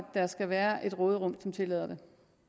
der skal være et råderum der tillader det